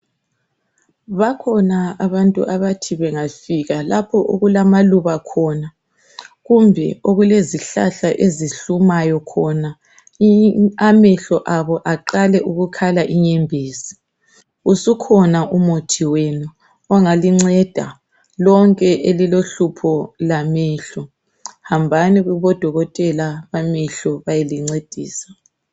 Bakhona abantu abathi bengafika lapho okulamaluba khona kumbe okulezihlahla ezihlumayo khona amehlo abo eqale ukukhala inyembezi usukhona umuthi wenu ongalinceda lonke elilohlupho lwamehlo hambani kobo dokotela bamehlo beyelincedisa.